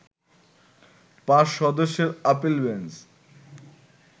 পাঁচ সদস্যের appeal bench